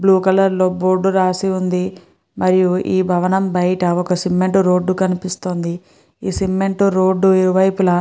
Blue colour లో board రాసి ఉంది మరియు ఈ భవనం బయట ఒక సిమెంట్ రోడ్డు కనిపిస్తోంది. ఈ సిమెంట్ రోడ్డు ఇరు వైపులా --